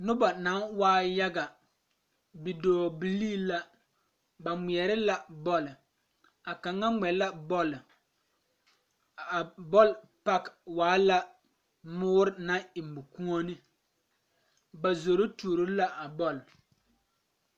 Noba naŋ waayaga bidɔɔbilee la ba ŋmeɛre la bɔle a kaŋa ŋmɛ la bɔle a bɔl page e la mɔɔre naŋ e mɔkuone ba zoro tuoro la a bɔle.